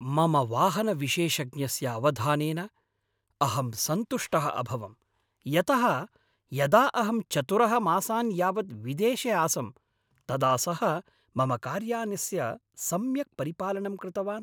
मम वाहनविशेषज्ञस्य अवधानेन अहं सन्तुष्टः अभवं यतः यदा अहं चतुरः मासान् यावत् विदेशे आसं तदा सः मम कार्यानस्य सम्यक् परिपालनं कृतवान्।